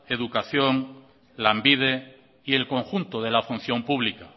educación lanbide y el conjunto de la función pública